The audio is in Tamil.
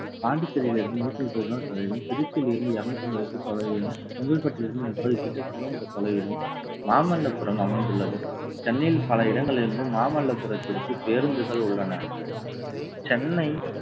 பாண்டிச்சேரியில் இருந்து நூத்தி முப்பது kilometer தொலைவிலும் திருச்சியில் இருந்து இருநூற்று ஐம்பது ஏக்கர் தொலைவிலும், செங்கல்பட்டிலிருந்து முப்பது kilometer தொலைவிலும் மாமல்லபுரம் அமைந்துள்ளது சென்னையில் பல இடங்களில் இருந்து மாமல்லபுரத்திற்கு பேருந்துகள் உள்ளன. சென்னை